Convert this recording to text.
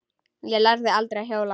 Ég lærði aldrei að hjóla.